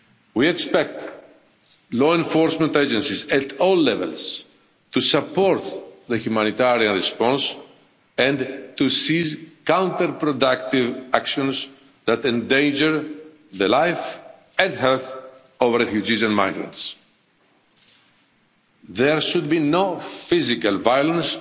We expect law enforcement agencies at all levels to support the humanitarian response and to cease counterproductive actions that endanger the life and health of refugees and migrants. There should be no physical violence